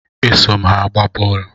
E so m ha agba boolu